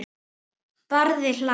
Barði hlær.